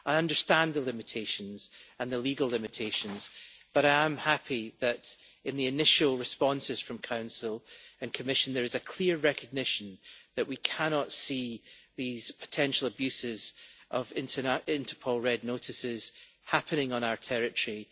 I understand the limitations and the legal limitations, but I am happy that, in the initial responses from the Council and Commission, there is a clear recognition that we cannot see these potential abuses of Interpol Red Notices happening on our territory